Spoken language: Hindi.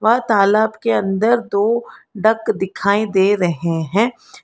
और तालाब के अंदर दो डक दिखाई दे रहे हैं।